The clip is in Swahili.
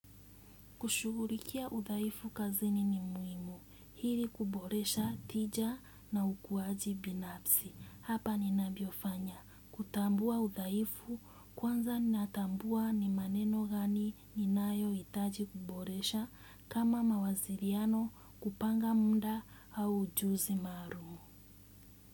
Kushugulikia udhaifu kazini ni muimu. Hili kuboresha tija na ukuaji binapsi. Hapa ninabiofanya. Kutambua udhaifu kwanza natambua ni maneno gani ninayoitaji kuboresha kama mawasiriano kupanga muda au ujuzi marumu.